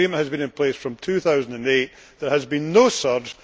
This agreement has been in place since 2008. There has been no surge.